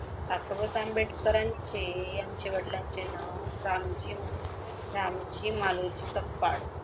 Doctor Babasaheb आंबेडकरांचे यांचे वडलांचे नाव रामजी मालोजी सपकाळ.